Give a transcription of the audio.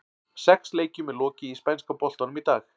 Sex leikjum er lokið í spænska boltanum í dag.